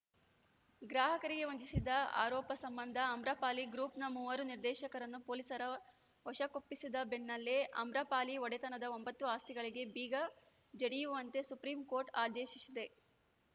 ಗ್ರಾಹಕರಿಗೆ ವಂಚಿಸಿದ ಆರೋಪ ಸಂಬಂಧ ಆಮ್ರಪಾಲಿ ಗ್ರೂಪ್‌ನ ಮೂವರು ನಿರ್ದೇಶಕರನ್ನು ಪೊಲೀಸರ ವಶಕ್ಕೊಪ್ಪಿಸಿದ ಬೆನ್ನಲ್ಲೇ ಆಮ್ರಪಾಲಿ ಒಡೆತನದ ಒಂಬತ್ತು ಆಸ್ತಿಗಳಿಗೆ ಬೀಗ ಜಡಿಯುವಂತೆ ಸುಪ್ರೀಂಕೋರ್ಟ್‌ ಆದೇಶಿಸಿದೆ